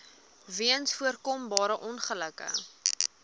weens voorkombare ongelukke